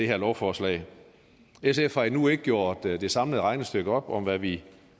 her lovforslag sf har endnu ikke gjort det samlede regnestykke op om hvad vi